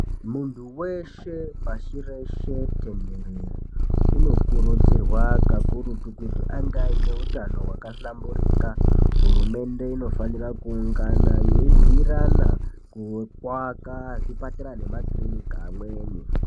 Muntu weshe pashi reshe tenherere uno kurudzirwa kakurutu kuti ange aine utano hwaka dhlamburika hurumende inofanira kuungana yei bhuyirana kweku aka makiriniki amweni.